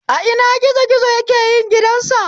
A ina gizo gizo yake yin gidan sa?